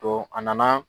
Don a nana